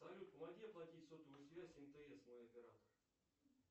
салют помоги оплатить сотовую связь мтс мой оператор